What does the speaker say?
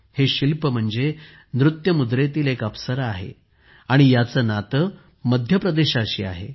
हे शिल्प म्हणजे नृत्य मुद्रेतील एक अप्सरा आहे आणि याचे नाते मध्य प्रदेशाशी आहे